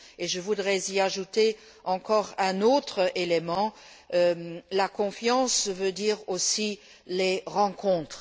Je voudrais y ajouter encore un autre élément la confiance veut dire aussi les rencontres.